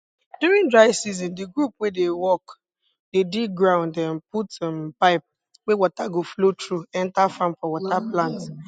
during dry season di group wey dey work dey dig ground um put um pipe wey water go flow through enter farm for water plants